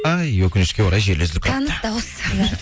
ай өкінішке орай желі үзіліп кетті